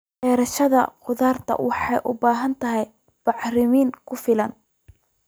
Beerashada khudaarta waxay u baahan tahay bacrimin ku filan.